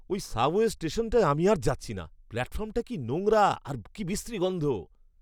ওই সাবওয়ে স্টেশনটায় আমি আর যাচ্ছি না। প্ল্যাটফর্মটা কি নোংরা, আর কি বিশ্রী গন্ধ!